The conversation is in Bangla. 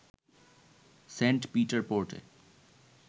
Saint Peter পোর্টে